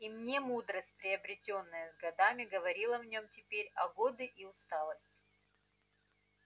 и мне мудрость приобретённая с годами говорила в нём теперь а годы и усталость